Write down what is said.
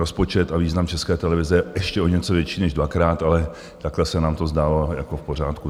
Rozpočet a význam České televize je ještě o něco větší než dvakrát, ale takhle se nám to zdálo jako v pořádku.